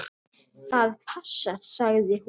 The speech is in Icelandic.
Það passar, sagði hún.